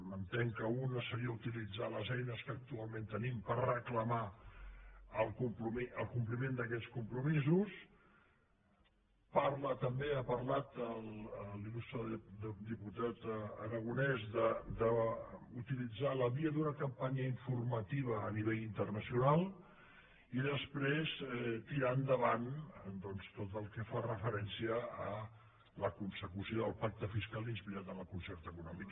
entenc que una seria utilitzar les eines que actualment tenim per reclamar el compliment d’aquests compromisos parla també ha parlat l’il·la via d’una campanya informativa a nivell internacional i després tirar endavant tot el que fa referència a la consecució del pacte fiscal inspirat en el concert econòmic